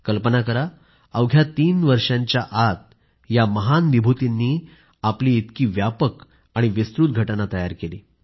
कल्पना करा अवघ्या तीन वर्षांच्या आत या महान विभूतींनी आपली इतकी व्यापक आणि विस्तृत घटना तयार केली